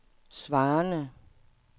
svarende